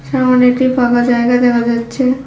এমন একটি ফাঁকা জায়গা দেখা যাচ্ছে।